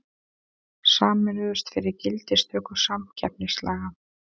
Sameinuðust fyrir gildistöku samkeppnislaga